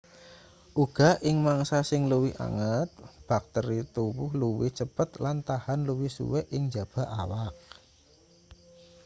uga ing mangsa sing luwih anget bakteri tuwuh luwih cepet lan tahan luwih suwe ing njaba awak